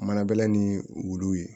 Mana bɛlɛ ni wulu ye